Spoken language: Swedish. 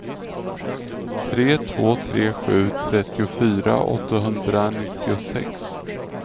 tre två tre sju trettiofyra åttahundranittiosex